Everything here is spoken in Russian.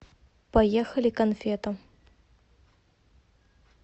поехали конфета